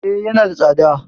E, yana da tsada.